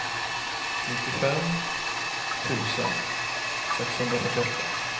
nittiofem tusen sexhundrafyrtioåtta